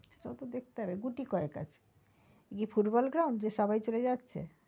সেটাও তো দেখতে গুটি কয়েক আছে এটা কি football ground যে সবাই চলে যাচ্ছে।